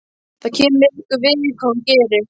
Hvað kemur ykkur við hvað hún gerir?